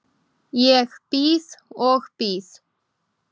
Ég bíð og bíð.